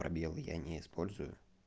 пробелы я не использую